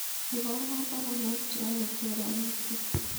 Iborwon baronok cheyobu choronogkyuk